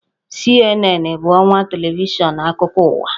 CNN bụ ọwa televishọn akụkọ ụwa